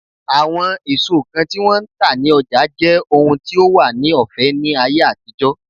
Àwọn èso kan tí wón ń tà ní ọjà jẹ́ ohun tí ó wà ní ọ̀fẹ́ ní ayé àtijọ́.